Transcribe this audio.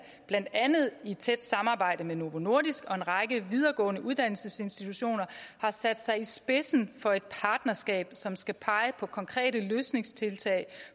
blandt andet i tæt samarbejde med novo nordisk og en række videregående uddannelsesinstitutioner har sat sig i spidsen for et partnerskab som skal pege på konkrete løsningstiltag